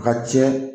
A ka cɛn